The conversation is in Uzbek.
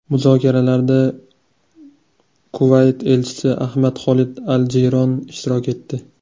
Muzokaralarda Kuvayt elchisi Ahmad Xolid al-Jiyron ishtirok etdi.